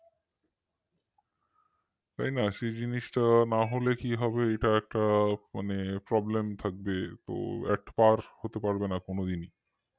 তাই না সেই জিনিসটা না হলে কি হবে এটা একটা মানে problem থাকবে atpar হতে পারবে না কোনদিনই